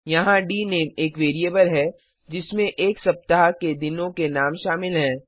यहाँ डीनेम एक वैरिएबल है जिसमें एक सप्ताह के दिनों के नाम शामिल हैं